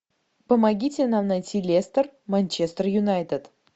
помогите нам найти лестер манчестер юнайтед